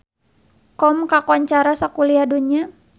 Qom kakoncara sakuliah dunya